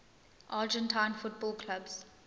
argentine football clubs